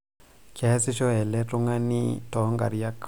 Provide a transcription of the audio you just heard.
kiasisho eletungani too nkariak